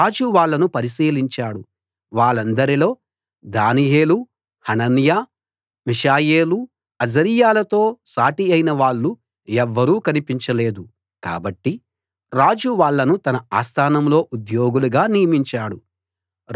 రాజు వాళ్ళను పరిశీలించాడు వాళ్ళందరిలో దానియేలు హనన్యా మిషాయేలు అజర్యాలతో సాటియైన వాళ్ళు ఎవ్వరూ కనిపించలేదు కాబట్టి రాజు వాళ్ళను తన ఆస్థానంలో ఉద్యోగులుగా నియమించాడు